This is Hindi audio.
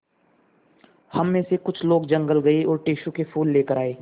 हम मे से कुछ लोग जंगल गये और टेसु के फूल लेकर आये